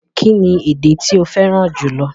Kíni èdè tí o fẹ́ran júlọ̀?